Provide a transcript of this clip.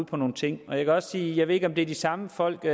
på nogle ting jeg kan også sige at jeg ikke ved om det er de samme folk i